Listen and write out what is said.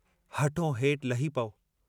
हठों हेठ लही पऊ।